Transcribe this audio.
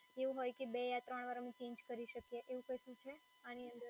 એવું હોય કે બે યા ત્રણ વાર અમે ચેન્જ કરી શકીએ એવું કશું છે આની અંદર